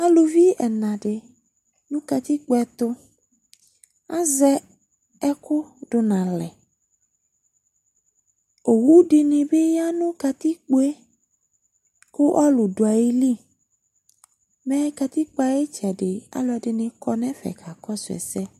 Aluvi ɛna dɩ dʋ katikpo ɛtʋ Azɛ ɛkʋ dʋ nʋ alɛ Owu dɩnɩ bɩ ya nʋ katikpo yɛ kʋ ɔlʋ dʋ ayili Mɛ katikpo yɛ ayʋ ɩtsɛdɩ, alʋɛdɩnɩ kɔ nʋ ɛfɛ kakɔsʋ ɛsɛ